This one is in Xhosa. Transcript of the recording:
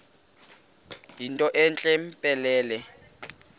yinto entle mpelele